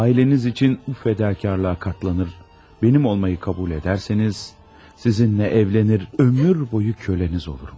Ailəniz üçün bu fədakarlığa dözsəniz, mənim olmağı qəbul etsəniz, sizinlə evlənib ömür boyu qulunuz olaram.